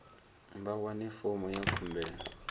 vha wane fomo ya khumbelo